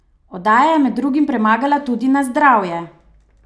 Oddaja je med drugim premagala tudi Na zdravje!